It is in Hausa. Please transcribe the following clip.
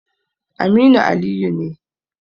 Aminu Aliyu ne.